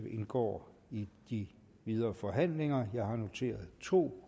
indgår i de videre forhandlinger jeg har noteret to